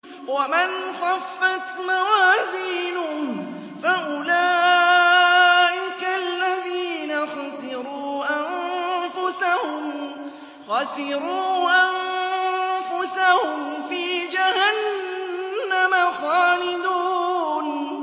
وَمَنْ خَفَّتْ مَوَازِينُهُ فَأُولَٰئِكَ الَّذِينَ خَسِرُوا أَنفُسَهُمْ فِي جَهَنَّمَ خَالِدُونَ